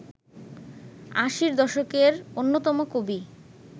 আশির দশকের অন্যতম কবি